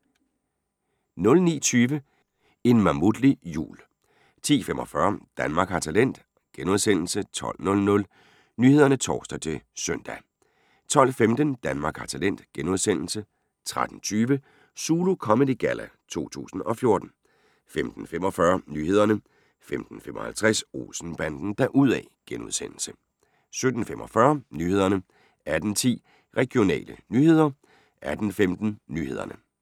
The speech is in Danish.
09:20: En mammutlig jul 10:45: Danmark har talent * 12:00: Nyhederne (tor-søn) 12:15: Danmark har talent * 13:20: Zulu Comedy Galla 2014 15:45: Nyhederne 15:55: Olsen-banden deruda' * 17:45: Nyhederne 18:10: Regionale nyheder 18:15: Nyhederne